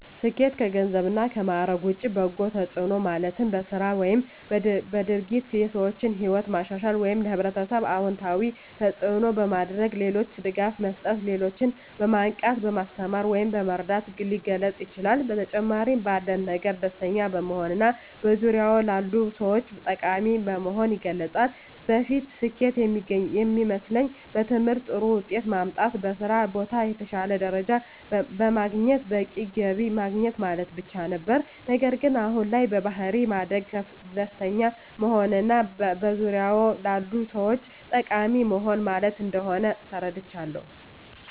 ስኬት ከገንዘብ እና ማዕረግ ውጭ በበጎ ተጽዕኖ ማለትም በሥራ ወይም በድርጊት የሰዎችን ሕይወት ማሻሻል ወይም ለኅብረተሰብ አዎንታዊ አስተዋፅዖ በማድረግ፣ ለሌሎች ድጋፍ መስጠት፣ ሌሎችን በማንቃት፣ በማስተማር ወይም በመርዳት ሊገለፅ ይችላል። በተጨማሪም ባለን ነገር ደስተኛ በመሆንና በዙሪያዎ ላሉ ሰዎች ጠቃሚ በመሆን ይገለፃል። በፊት ስኬት የሚመስለኝ በትምህርት ጥሩ ውጤት ማምጣት፣ በስራ ቦታ የተሻለ ደረጃ በማግኘት በቂ ገቢ ማግኘት ማለት ብቻ ነበር። ነገር ግን አሁን ላይ በባሕሪ ማደግ፣ ደስተኛ መሆንና በዙሪያዎ ላሉ ሰዎች ጠቃሚ መሆን ማለት እንደሆን ተረድቻለሁ።